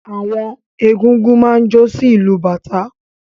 Àwọn egúngún máa ń jó sí ìlù bàtá.